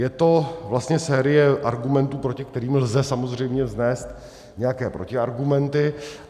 Je to vlastně série argumentů, proti kterým lze samozřejmě vznést nějaké protiargumenty.